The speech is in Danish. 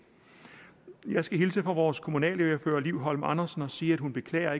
jeg skal hilse fra vores kommunalordfører fru liv holm andersen og sige at hun beklager